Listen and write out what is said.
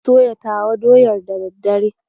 Zan soya tawa doyar da daddare.